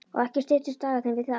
Og ekki styttust dagarnir við það.